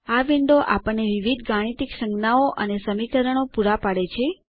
આ વિન્ડો આપણને વિવિધ ગાણિતિક સંજ્ઞાઓ અને સમીકરણો પૂરા પાડે છે